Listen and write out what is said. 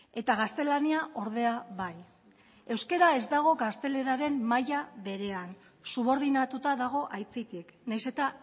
eta gaztelania ordea bai euskara ez dago gazteleraren maila berean subordinatuta dago aitzitik nahiz eta